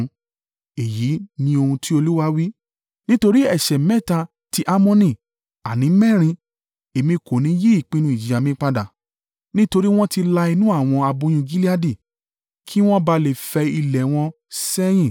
Èyí ni ohun tí Olúwa wí: “Nítorí ẹ̀ṣẹ̀ mẹ́ta ti Ammoni, àní mẹ́rin, Èmi kò ní yí ìpinnu ìjìyà mi padà. Nítorí wọn ti la inú àwọn aboyún Gileadi kí wọ́n ba à lè fẹ ilẹ̀ wọn sẹ́yìn.